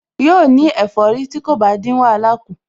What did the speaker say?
Yóò ní ẹ̀fọ́rí tí kò bá dín wàhálà kù